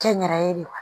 Kɛ n yɛrɛ ye de wa